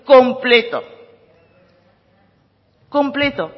completo